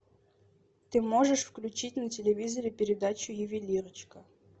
ты можешь включить на телевизоре передачу ювелирочка